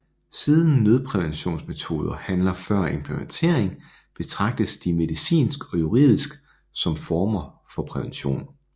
Siden nødpræventionsmetoder handler før implantering betragtes de medicinsk og juridisk som former for prævention